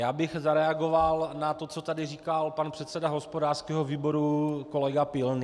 Já bych zareagoval na to, co tady říkal pan předseda hospodářského výboru kolega Pilný.